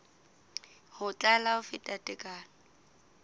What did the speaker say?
ho tlala ho feta tekano